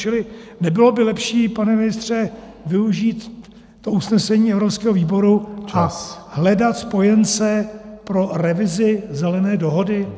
Čili nebylo by lepší, pane ministře, využít to usnesení evropského výboru a hledat spojence pro revizi Zelené dohody?